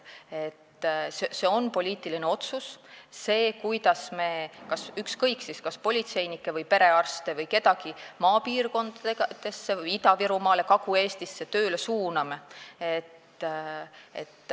See on poliitiline otsus, kuidas me kas politseinikke, perearste või kedagi teist maapiirkonda, Ida-Virumaale või Kagu-Eestisse tööle suuname.